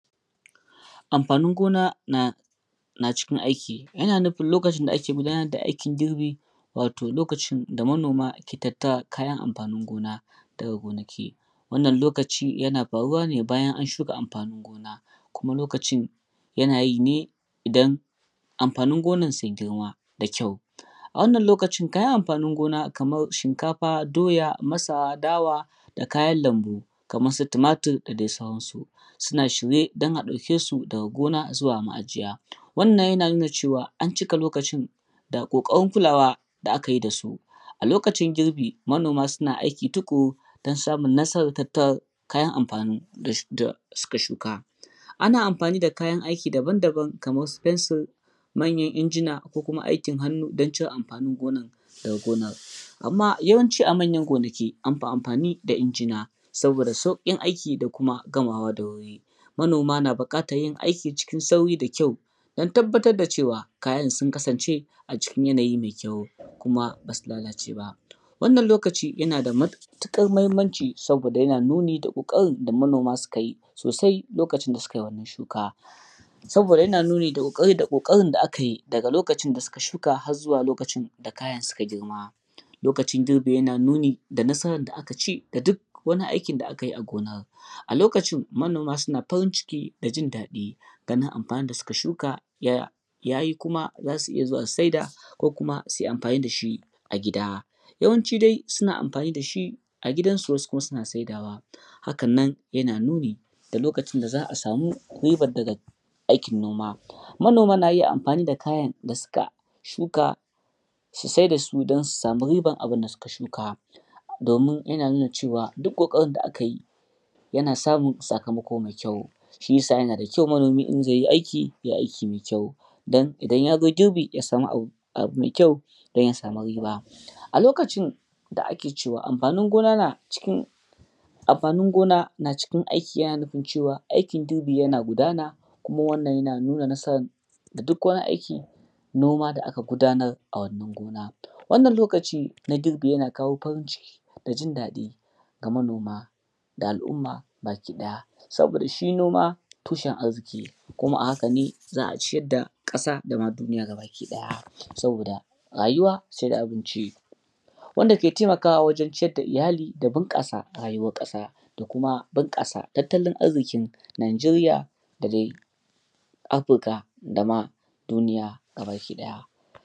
Amfanin gona na cikin aiki yana nufi ookacin da ake fama da aikin girbi wato lokaci da manoma ke tattara kayan amfanin gona. Wannan lokaci yana faruwa bayan an shuka amfanin gona kuma lokacin yanayi ne don amfanin gonar sun girma da ƙyau. Wanna lokacin kayan amfanin gona kamar shinkafa doya masara dawa da kayan lambu kamar su tumatur da sauransu, suna shirye a dauke su daga gona zuwa maajiya. Wanna yana nufin an cika lokacin da ƙokarin kulawa da aka yi da su a lokacin girbi manoma suna aiki tukuru don samun nasarar tattara kayan amfani da suka shukan. Ana amfani da kaya aiko daban-daban kamar manyan injina ko kuma aikin hannu don cire amfanin gonar daga gonar. Amma yawanci amanya ginaki amfi amfani da injina savoda sauƙin aiki da kuma gamawa da wuri. Manoma na buƙatar yinaiki cikin sauri da ƙyau don tabbatar da cewa kasayn sun kasance a cikin yanayi mai ƙyau kuma ba su lalalce ba. Wannan lokaci yana da matuƙar mahimmanci saboda yana nuni da da manoma suka yi sosai lokacin shuka. Saboda yana nunni da ƙoƙarin da aka yi daga koakcin da suka shuka har zuwa lokacin da kayan suka girma. Lokacin girbi yana nuni da nasara da aka ci da duk wania ikon da aka yi a gona. A lokacin manoma sun cikin farin ciki da jin daɗi ganin amfanin da suka shuka ya yi kuma za su iya zuwa su sayar ko su yi amfani da shi a gida. Yawanci suna amfani da shi a gidansu wasu kima suna saidawa hakan nan kuma yana nuni da lokacin da za a samu ribar daga noma. Manoma na amfani da kayan suka shuka su sayar da su don don su samu ribar avun da suka shuka. Don nuna cewa duk ƙoƙarin da aka yi yana samun sakamako.mai ƙyau. Shi ya sa yana da ƙyau manomi idan zai yi aiki ya yi aiki mai ƙyau domin idan ya zo girbi ya samu abu mai ƙyau da zai sama riba a. A lokacin da ake cewa amfanin gona na cikin aikin yana nufi cewa aikin girbi yana gudana kuma yana nuna nasarar duk kayan aikin noma da aka gudanar a wannan gona wannan lokaci na yana kawo farin ciki da jin daɗi ga manoma da al'umma baki ɗaya. Saboda shi boma tushen arziki kuma a haka ne za a ciyar da ƙasa dama duniya baki ɗaya. Saboda rayuwa sai da abinci. Wanda yake taimakawa wajen ciyar da oyali da bunƙasa rayuwar ƙasa da kuma bunƙasa tattalin arkin Nigeria da dai Afirka da ma duniya baki ɗaya.